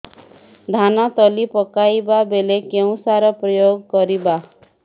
ଧାନ ତଳି ପକାଇବା ବେଳେ କେଉଁ ସାର ପ୍ରୟୋଗ କରିବା